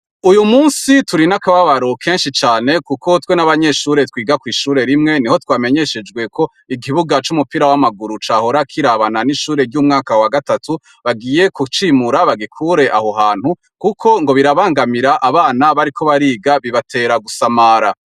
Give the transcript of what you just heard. Uyumunsi turinakababaro kenshi cane kuko twe nabanyeshure twiga kwishuri rimwe niho twamenyeshejwe ko ikibuga c'umupira w'amaguru cahora kirabana n'umwaka wagatatu bagiye kucimura bagikure aho hantu kuko bira bangamira abana bariko bariga bibatera gusamara.